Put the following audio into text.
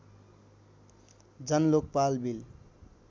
Jan Lokpal bill